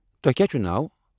تۄہہِ کیٛاہ چھُو ناو؟